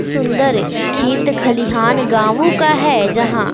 सुंदर खेत खलिहान गांवों का है जहां--